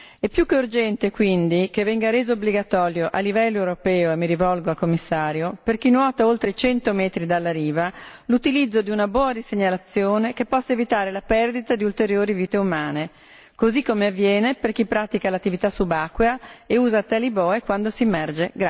È più che urgente quindi che venga reso obbligatorio a livello europeo e mi rivolgo al Commissario per chi nuota oltre i 100 metri dalla riva, l'utilizzo di una boa di segnalazione che possa evitare la perdita di ulteriori vite umane, così come avviene per chi pratica l'attività subacquea e usa tali boe quando si immerge.